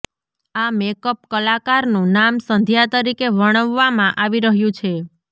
આ મેકઅપ કલાકારનું નામ સંધ્યા તરીકે વર્ણવવામાં આવી રહ્યું છે